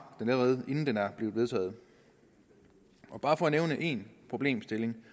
den allerede inden den er vedtaget bare for at nævne én problemstilling